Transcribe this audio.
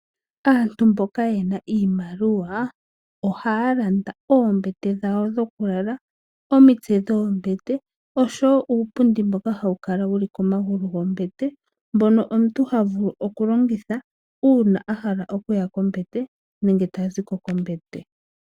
Aantu mboka yena iimaliwa ohaya landa oombete dhawo dhokulala, omitse dhoombete oshowo uupundi mboka hawu kala wuli komagulu gombete, mbono omuntu ha vulu okulongitha uuna ahala okuya kombete, nenge taziko kombete.